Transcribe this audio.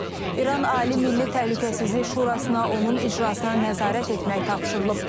İran Ali Milli Təhlükəsizlik Şurasına onun icrasına nəzarət etmək tapşırılıb.